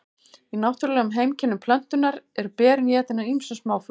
í náttúrulegum heimkynnum plöntunnar eru berin étin af ýmsum smáfuglum